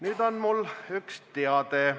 Nüüd on mul üks teade.